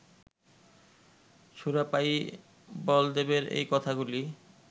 সুরাপায়ী বলদেবের এই কথাগুলি